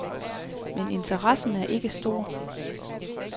Men interessen er ikke stor.